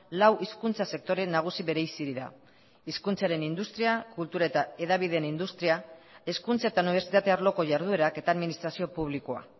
lau hizkuntza sektore nagusi bereizi dira hizkuntzaren industria kultura eta hedabideen industria hezkuntza eta unibertsitate arloko jarduerak eta administrazio publikoa